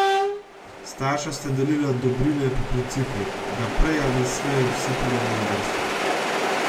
Starša sta delila dobrine po principu, da prej ali slej vsi pridemo na vrsto.